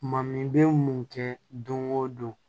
Ma min bɛ mun kɛ don go don